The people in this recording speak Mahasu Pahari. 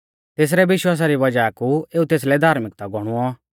तेसरै विश्वासा री वज़ाह कु एऊ तेसलै धार्मिकता गौणुऔ